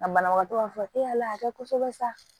A banabagatɔ b'a fɔ e y'a lakɛ kosɛbɛ sa